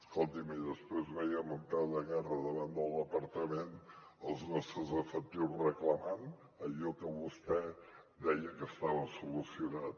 escolti’m i després veiem en peu de guerra davant del departament els nostres efectius reclamant allò que vostè deia que estava solucionat